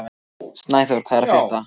Snæþór, hvað er að frétta?